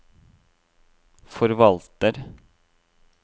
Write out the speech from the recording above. forvalter